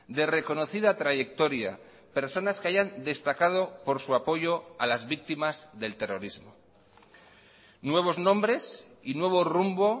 de reconocida trayectoria personas que hayan destacado por su apoyo a las víctimas del terrorismo nuevos nombres y nuevo rumbo